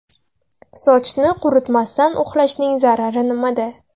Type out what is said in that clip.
Sochni quritmasdan uxlashning zarari nimada?.